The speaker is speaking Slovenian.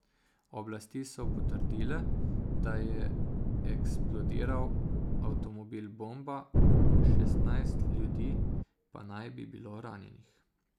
Oblasti so potrdile, da je eksplodiral avtomobil bomba, šestnajst ljudi naj bi bilo ranjenih.